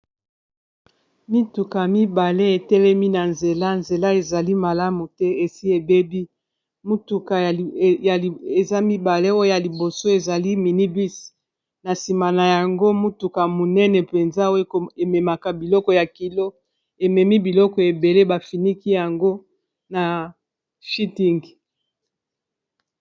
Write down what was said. Mituka mibale etelemi na nzela, nzela ezali malamu te esi ebebi mutuka eza mibale oyo liboso ezali mini-bus na nsima na yango mutuka munene mpenza oyo ememaka biloko ya kilo ememi biloko ebele bafiniki yango na feeting.